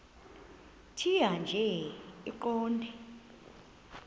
tjhaya nje iqondee